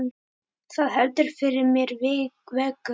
Það heldur fyrir mér vöku.